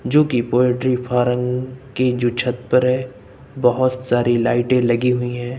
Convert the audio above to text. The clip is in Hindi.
जो की पोल्ट्री फार्म की जो छत पर है बहोत सारी लाइटें लगी हुई है।